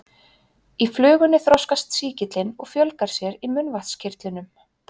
Í flugunni þroskast sýkillinn og fjölgar sér í munnvatnskirtlunum.